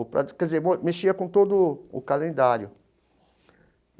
Ou para, quer dizer, mexia com todo o calendário.